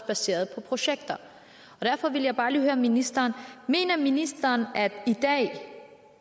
baseret på projekter derfor vil jeg bare lige høre ministeren mener ministeren at i dag